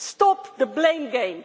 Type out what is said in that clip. Stop the blame game.